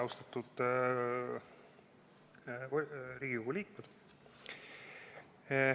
Austatud Riigikogu liikmed!